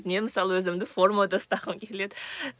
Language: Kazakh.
мен мысалы өзімді формада ұстағым келеді